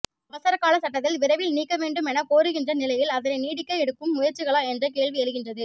அவசரகால சட்டத்தில் விரைவில் நீக்க வேண்டும் என கோருகின்ற நிலையில் அதனை நீடிக்க எடுக்கும் முயற்சிகளா என்ற கேள்வி எழுகின்றது